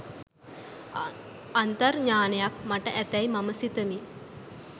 අන්තර් ඥාණයක් මට ඇතැයි මම සිතමි.